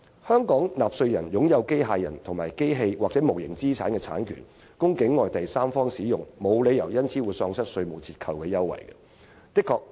香港納稅人擁有機械人、機器或無形資產的產權，供境外第三方使用，沒有理由因而喪失稅務折扣優惠。